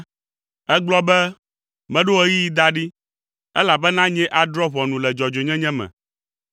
Ègblɔ be, “Meɖo ɣeyiɣi da ɖi, elabena nyee adrɔ̃ ʋɔnu le dzɔdzɔenyenye me.